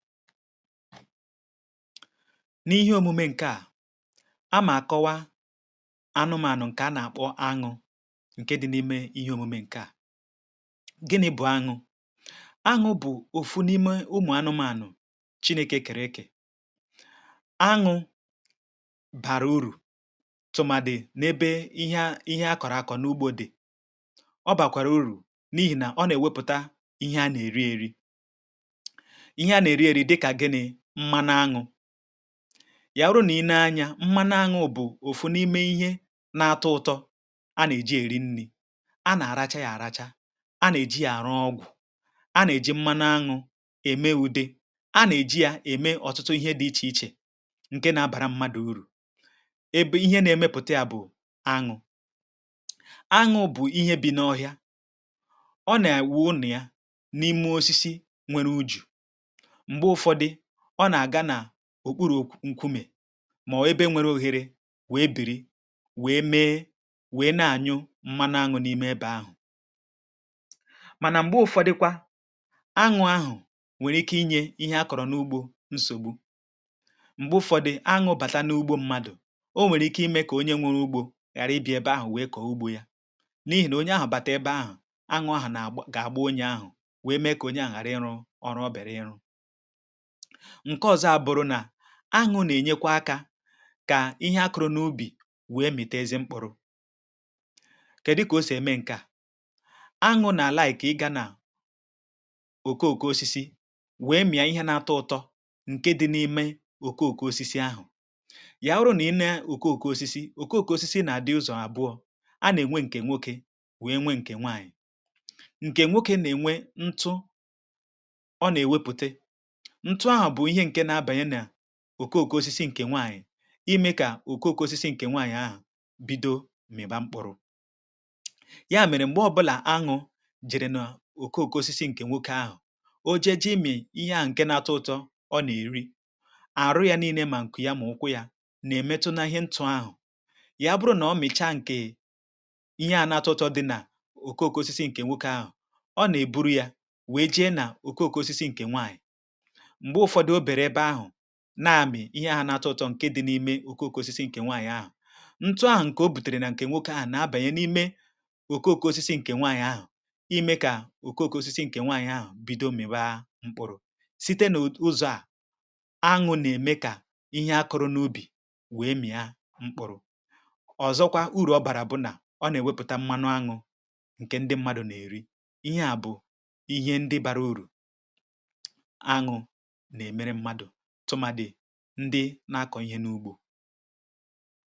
N’ihe omume ǹke à, a mà kọwa anụmànụ ǹkè a nà-àkpọ aṅụ, ǹke dị n’ime ihe omume ǹke à. Gini̇ bụ̀ aṅụ? Aṅụ̇ bụ̀ òfu n’ime ụmụ̀ aṅụmȧnụ̀ chinėkè kèrè ekè. Aṅụ̇ bàrà urù tụ̀màdì n’ebe ihe a, Ihe akọ̀rọ̀ akọ̀ n’ugbȯ dị. Ọ bàkwàrà urù n’ihì nà ọ nà-èwepụ̀ta ihe a nà-èri èri. Ihe a nà-èri èri, dịkà gịnị? Mmȧnụ̇ aṅụ̇. Yà wurụ nà i nee anyȧ, mmȧnụ̇ aṅụ̇ bụ̀ òfụ̀ n’ime ihe na-atọ ụtọ̇ a nà-èji èri nni̇. A nà-àracha yȧ àracha, a nà-èji yȧ àrụ ọgwụ,̀ a nà-èji mmȧnụ̇ aṅụ̇ ème ude, a nà-èji yȧ ème ọ̀tụtụ ihe dị̇ ichè ichè ǹke na-abàra mmadụ̀ urù. Ebe ihe na-emepụ̀ta yȧ bụ̀ anụ̇. Anụ̇ bụ̀ ihe bị̇ n’ọhịa, ọ nà-ewụ ụlọ yȧ n’ime osisi nwèrè ujù. Mgbè ufọdụ, ọ nà-àga n’òkpuru̇ nk nkumè, màowụ̀ ebe nwere ohere wèe bìrì, wèe mee, wèe na-ànyụ mmanụ añụ̇ n’ime ebe ahụ.̀ Mànà m̀gbe ụ̀fọdịkwa, añụ̇ ahụ̀ nwèrè ike inye ihe a kọ̀rọ̀ n’ugbȯ nsògbu, m̀gbe ụ̀fọdị añụ̇ bàta n’ugbȯ mmadụ,̀ o nwèrè ike imė kà onye nwere ugbȯ ghàra ibi̇a ebe ahụ wee koo ùgbò ya,̀ n’ihì nà onye ahụ̀ bàtà ebe ahụ,̀ añụ̇̀ ahụ̀ nà ga-àgba onye ahụ̀ wèe mee kà onye ahụ ghàra ịrụ̇ ọrụ o bịara ịrụ̇. Nke ọzọ, abụ̀rụ̀ nà añụ̇̀ nà-ènyekwa akȧ kà ihe akụ̇rụ̇ n’ubì wèe mìta ezi mkpụ̇rụ̇. Kè dị kà o sì ème ǹke à? añụ̇̀ nà àla à iki ị gȧ nà òke òke osisi wèe mìa ihe na-atọ ụtọ ǹke dị na-ime òke òke osisi ahụ.̀ Ya wurụ nà-inė òke òke osisi, òke òke osisi nà-àdị ụzọ̀ àbụọ̇, a nà-ènwe ǹkè nwoke wèe nwe ǹkè nwaànyị,̀ ǹkè nwokė nà-ènwe ntụ ọ nà-èwepùte, ntụ a bụ Ihe n'abanye nà òko òkosisi ǹkè nwaànyị̀ imė kà òko òkosisi ǹkè nwaànyị̀ ahụ̀ bido mị̀ba mkpụrụ̇. Ya mèrè, m̀gbè ọbụlà añụ̇ jere n’òko òkosisi ǹkè nwokė ahụ̀ o jee ji imị̀ ihe ahụ̀ ǹke na-atọ ụtọ, ọ nà-èri, àrụ yȧ nii ne, mà ǹkụ̀ ya, mà ụkwụ yȧ nà-èmetụnȧ ihe ntụ̇ ahụ.̀ Ya bụrụ nà ọ mị̀cha ǹkè ihe à na-atọ ụtọ dị nà òko òkosisi ǹkè nwokė ahụ,̀ ọ nà-èburu yȧ wèe jee nà òko òkosisi ǹkè nwaànyị. Mgbè ufọdụ o bere ebe ahụ,̀ na-amị̀ ihe ahụ̀ na-atọ ụtọ ǹke dị n’ime oke oke osisi ǹkè nwaànyị̀ ahụ,̀ ǹtụ ahụ ǹkè o bùtèrè nà ǹkè nwoke ahụ̀ na-abànye n’ime oke oke osisi ǹkè nwaànyị̀ ahụ̀ ime kà oke oke osisi ǹkè nwaànyị̀ ahụ̀ bido mị̀wa mkpụrụ̇. Site n’ụzọ̇ à añụ̇ nà-ème kà ihe akụrụ n’ubì wee mị̀a mkpụrụ̇. ọ ̀zọkwa urù ọ bàrà bụ̀ nà ọ nà-èwepùta mmanụ aṅụ̇ ǹkè ndị mmadụ̇ nà-èri. Ihe à bụ̀ ihe ndị bara urù añụ̇ nà-emere mmadụ, tumadi, ndị na-akọ̀ ihe n’ugbo.